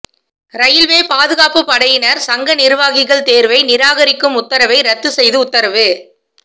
railway பாதுகாப்புப்படையினா் சங்க நிா்வாகிகள் தோ்வை நிராகரிக்கும் உத்தரவை ரத்து செய்து உத்தரவு